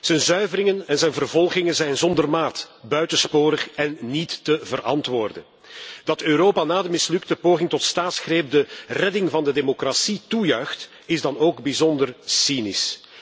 Zijn zuiveringen en zijn vervolgingen zijn zonder maat, buitensporig en niet te verantwoorden. Dat Europa na de mislukte poging tot staatsgreep de redding van de democratie toejuichte, is dan ook bijzonder cynisch.